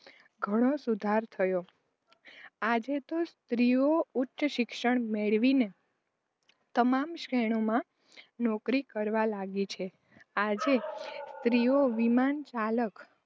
ઘણો સુધારો થયો. આજે તો સ્ત્રીઓ ઉચ્ચ શિક્ષણ મેળવીને તમામ ક્ષેત્રોમાં નોકરી કરવા લાગી છે. આજે સ્ત્રીઓ વિમાનચાલક